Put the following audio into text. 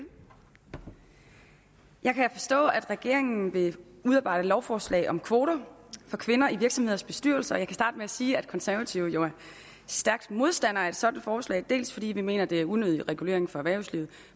jeg kan forstå at regeringen vil udarbejde lovforslag om kvoter for kvinder i virksomheders bestyrelser og jeg kan starte med at sige at de konservative jo er stærke modstandere af et sådant forslag dels fordi vi mener det er unødig regulering for erhvervslivet